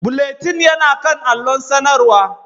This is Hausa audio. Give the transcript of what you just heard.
Bulletin yana kan allon sanarwa